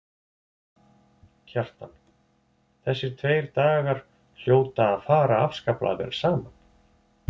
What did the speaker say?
Kjartan: Þessir tveir dagar hljóta að fara afskaplega vel saman?